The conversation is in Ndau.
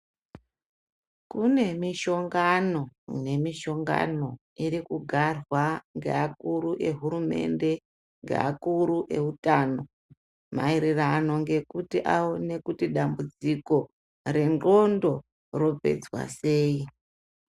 Kune mishongano nemishongano irikugarwa ngeakuru ehurumende, ngeakuru eutano maererano ngekuti aone kuti dambudziko rendxondo ropedzwa sei.